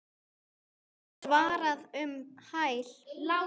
var svarað um hæl.